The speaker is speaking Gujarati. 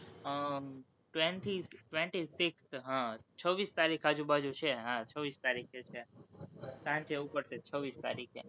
અમ થી twenty six હમ છવ્વીસ તારીખ આજુ બાજુ છે, હા, છવ્વીસ તારીખે છે, સાંજે ઉપડશે છવ્વીસ તારીખે